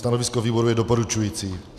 Stanovisko výboru je doporučující.